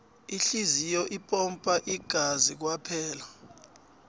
ihliziyo ipompa ingazi kwaphela